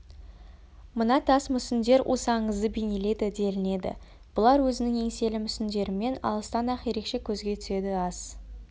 мына тас мүсіндер осы аңызды бейнелейді делінеді бұлар өзінің еңселі мүсіндерімен алыстан-ақ ерекше көзге түседі ас